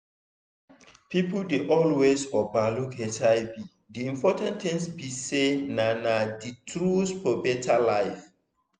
people dey always over look hiv d important thing be say na na the truth for better life